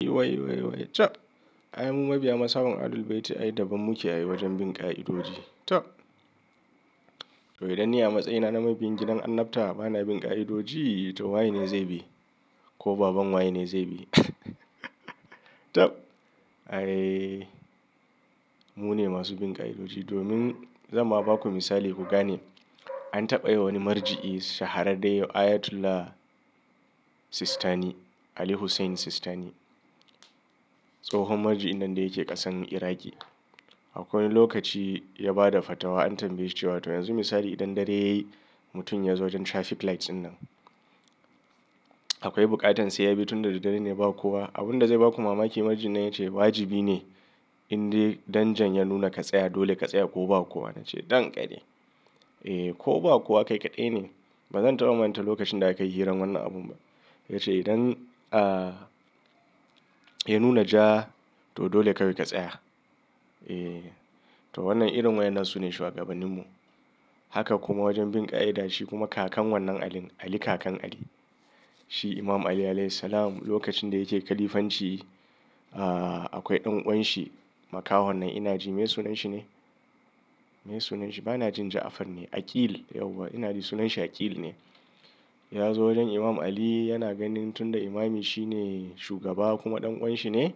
Waiwaiwai cab, Ai mu mabiya ma son Ahlul Bayti ai daban muke ai wajen bin ƙa'idoji tab. To idan ni a matsayina na mabiyin gidan annabta bana bin ƙa'idoji to wa zai bi? Ko baban waye ne zai bi? Tab, ai mune masu bin ƙa'idoji dobin, zan ma baku misali ku gane. An taɓa yi wani marji'i shahararre Ayatollah Sistani, Ali Hussein Sistani. Tsohon marji'in nan da yake ƙasan Iraƙi. Akwai lokaci ya ba da fatwa an tambaye shi cewa to yanzu misali idan dare yayi mutum ya zo wajen traffic lights dinnan. Akwai buƙatan sai ya bi tun da dare ne ba kowa. Abun da zai ba ku mamaki marji'in na ya ce wajibi ne in dai danjan ya nuna ka tsaya dole ka tsaya ko ba kowa. Na ce dan ƙari. Eh ko ba kowa kai kaɗai ne. Ba zan taɓa manta lokacin da aka yi hirar wannan abun ba. Ya ce idan, ya nuna ja to dole kawai ka tsaya. Eh, to wannan irin wa'yennan su ne shuwagabannin mu. Haka kuma wajen bin ƙa'ida shi kuma kakan wannan Alin, Ali kakan Ali. Shi Imam Ali alaihis salam lokacin da yake khalifanci, akwai ɗan uwan shi makahon nan ina ji me sunan shi ne? Meye sunan shi? Bana jin ja'afr ne. Aql yauwa ina ji sunan shi Aql ne. Ya zo wajen Imam Ali yana ganin tun da Imami shi ne shugaba kuma ɗan uwan shi ne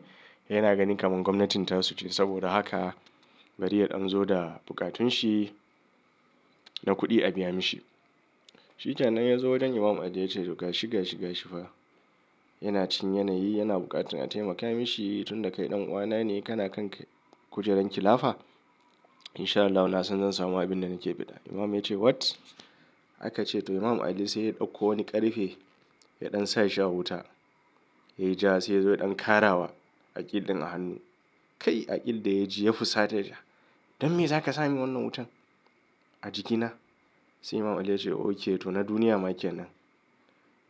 yana ganin kamar gwamnatin tasu ce saboda haka. Bari yadan zo da bukatun shi na kuɗi a biya mishi. Shi kenan ya zo wajen Imam Ali ya ce to gashi, gashi, gashi fa. Yana cinkin yanayi yana buƙatar a taimaka mishi tun da kai ɗan uwa na ne kana kan kujerar khilafa. Insha Allahu nasan zan samu abin da nake biɗa Imam ya ce what? Aka ce to Imam Ali sai ya ɗauko wani ƙarfe ya ɗan sa shi a wuta. Yayi ja sai ya zo ya ɗan karawa Aql din a hannu. Kai! Aql da ya ji ya fusata. Don me za ka sa min wannan wutan a jikina? Sai Imam Ali ya ce ok to na duniya ma kenan.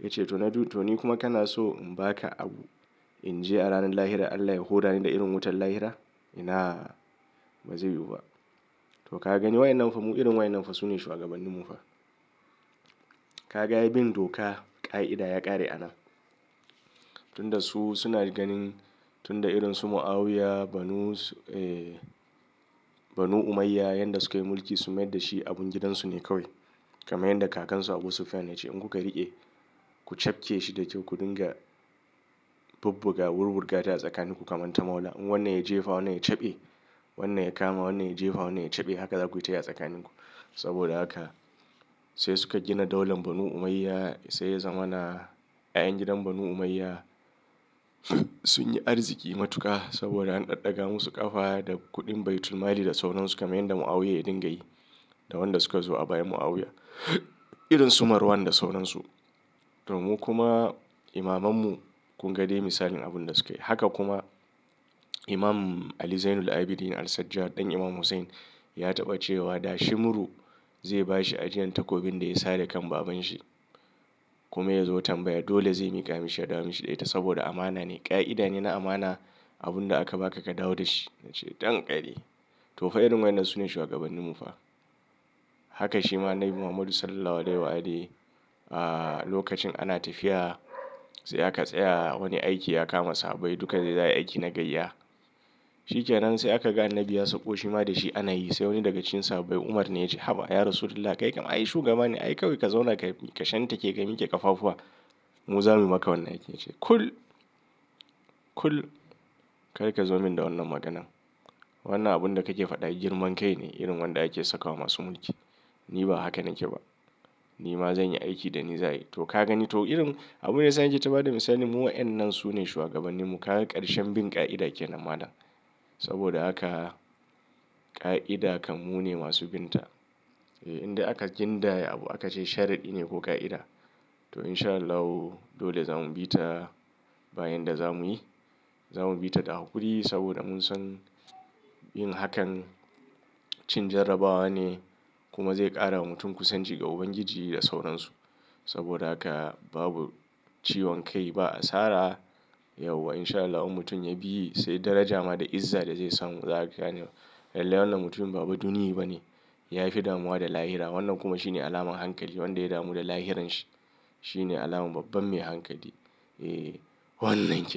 Ya ce to na, to ni kuma kana so in ba ka abu in je a ranar lahira Allah ya huda ni da irin wutar lahira? Inaa, ba zai yiwu ba. To ka gani wa'yennan fa mu irin wa'yennan fa su ne shuwagabannin mu fa. Ka ga ai bin doka, ƙa'ida ya ƙare anan tun da su suna ganin tun da irin su Mu'awiya, Banu, Banu Umayya, yanda sukayi mulki su mayar da shi abun gidansu ne kawai. Kamar yanda kakan su Abu Sufyan ya ce in kuka riƙe, ku cafke shi da kyau ku dinga bubbuga wurwurga ta a tsakanin ku kaman ta mo wani abu in wannan ya jefa wannan ya cafe, wannan ya kama wannan ya jefa wannan ya cafe. Haka za ku yi ta yi a tsakanin ku. Saboda haka sai suka gina daulan Banu Umayya. Sai ya zamana 'ya'yan gidan Banu Umayya. Sun yi arziki matuƙa saboda an ɗaɗɗaga musu ƙafa da kuɗin baitulmali da sauransu kamar yanda Mu'awiya ya dinga yi da wanda suka zo bayan Mu'awiya. Irin su Marwan da sauransu. To mu kuma imamanmu kun ga dai misalin abun da sukayi. Haka kuma Imam Ali Zainul Abidin al-Sajjad ɗan Imam Hussein ya taɓa cewa da shimuru zai ba shi ajiyan takobin da ya sare kan baban shi kuma ya zo tambaya dole zai miƙa mishi ya dawo mishi da ita saboda amana ne. Ƙa'ida ne na amana abun da aka ba ka ka dawo da shi. Na ce don ƙari. To fa irin wa'yennan su ne shuwagabannin mu fa. Haka shi ma Annabi Muhammadu Sallallahu alaihi wasallam a lokacin ana tafiya sai aka tsaya wani aiki ya kama sahabbai duka dai za ayi aiki na gaiya. Shi kenan sai aka ga Annabi ya sauko shi ma da shi ana yi. Sai wani daga cikin sahabbai Umar ne ya ce "Haba, ya Rasulillah kai kam ai shugaba ne ai kawai ka zauna ka shan take ka mike ƙafafuwa. Mu za mu yi maka wannan aikin." Ya ce "Kul, kul kar ka zo min da wannan maganan. Wannan abun da kake faɗa girman kai ne irin wanda ake sakawa masu mulki. Ni ba haka nake ba. Ni ma zan yi aiki da ni za ayi." To ka gani to irin abunda yasa nake ta bada misali mu wa'yannan su ne shuwagabannin mu. Ka ga ƙarshen bin ƙa'ida ke nan malam. Saboda haka ƙa'ida kam mu ne masu bin ta. Eh inda aka gindaya abu aka ce sharaɗi ne ko ƙa'ida to insha Allahi dole za mu bi ta bayan da za mu yi. Za mu bi ta da haƙuri saboda mun san yin hakan cin jarrabawa ne kuma zai ƙara wa mutum kusanci ga Ubangiji da sauransu. Saboda haka babu ciwon kai, ba asara yauwa insha Allah in mutum ya bi sai daraja ma da izza da zai samu. Za ka gane lallai wannan mutumin ba baduniye bane. Yafi damuwa da lahira. Wannan kuma shine alamar hankali. Wanda ya damu da lahirin shi, shi ne alamar babban mai hankali. Eh, wannan ne.